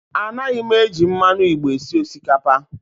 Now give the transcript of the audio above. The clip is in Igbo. A naghị m eji mmanụ igbo esi osikapa